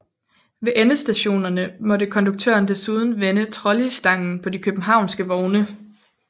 Ved endestationerne måtte konduktøren desuden vende trolleystangen på de københavnske vogne